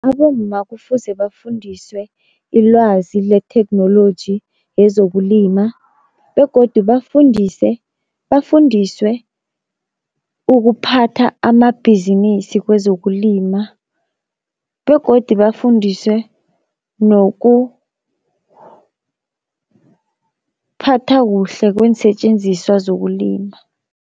Abomma kufuze bafundiswe ilwazi letheknoloji yezokulima begodu bafundise, bafundiswe ukuphatha amabhizinisi kwezokulima, begodi bafundiswe nokuphatha kuhle kweensetjenziswa zokulima.